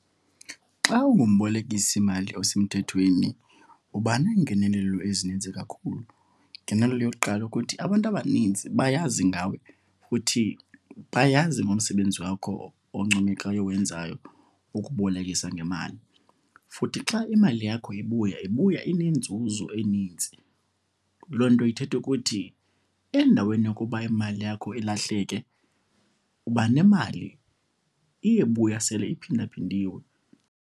Xa ungumbolekisimali osemthethweni uba neengenelelo ezininzi kakhulu. Igengenelelo yokuqala ukuthi abantu abaninzi bayazi ngawe futhi bayazi ngomsebenzi wakho oncomekayo owenzayo ukubolekisa ngemali. Futhi xa imali yakho ibuya, ibuya inenzuzo enintsi. Loo nto ithetha ukuthi endaweni yokuba imali yakho ilahleke, uba nemali, iye ibuya sele iphindaphindiwe.